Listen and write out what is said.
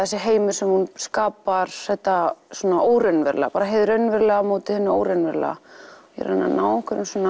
þessi heimur sem hún skapar þetta óraunverulega hið raunverulega á móti hinu óraunverulega ég er að reyna að ná